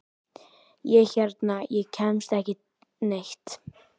Ég hérna. ég kemst ekki neitt.